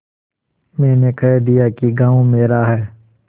मैंने कह दिया कि गॉँव मेरा है